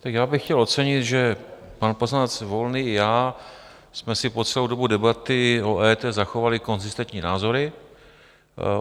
Tak já bych chtěl ocenit, že pan poslanec Volný i já jsme si po celou dobu debaty o EET zachovali konzistentní názory.